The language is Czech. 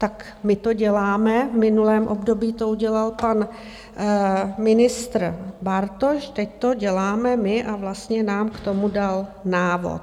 Tak my to děláme, v minulém období to udělal pan ministr Bartoš, teď to děláme my a vlastně nám k tomu dal návod.